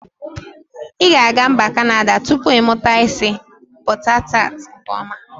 I ga aga mba kanada tupu imuta isi bọta tat nke ọma.